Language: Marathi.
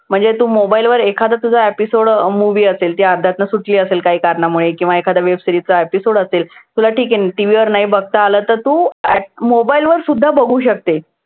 म्हणजे तू mobile वर एखादा तुझा episode movie असेल जी अर्ध्यातनं सुटली असेल काही कारणामुळे किंवा एखाद्या web series चा episode असेल. तुला ठीक आहे, TV वर नाही बघता आला तर तू mobile वरसुद्धा बघू शकते.